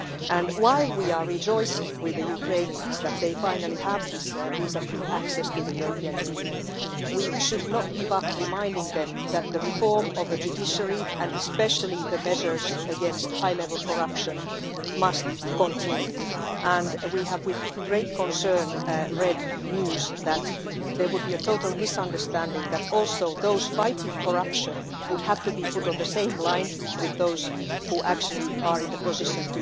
And while we are rejoicing with the Ukrainians that they finally have this visa free access to the European Union, we should not give up reminding them that the reform of the judiciary and especially the measures against high level corruption must continue, and we have with great concern read news that there would be a total misunderstanding that also those fighting corruption would have to be put on the same line with those who actually are in the position